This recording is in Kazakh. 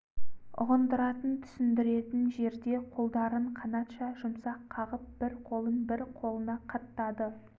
ұғындыратын түсіндіретін жерде қолдарын қанатша жұмсақ қағып бір қолын бір қолына қаттады